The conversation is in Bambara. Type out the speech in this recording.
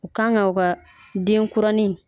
U Kan ga u ka denkurani